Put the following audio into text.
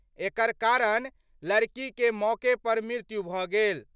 एकर कारण लड़की के मौके पर मृत्यु भ' गेल।